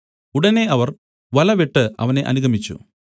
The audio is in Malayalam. ഉടനെ അവർ വല വിട്ടു അവനെ അനുഗമിച്ചു